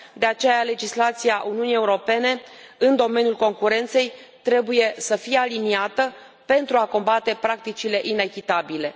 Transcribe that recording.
De aceea, legislația Uniunii Europene în domeniul concurenței trebuie să fie aliniată pentru a combate practicile inechitabile.